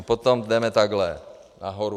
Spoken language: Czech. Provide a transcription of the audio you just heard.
A potom jdeme takhle nahoru.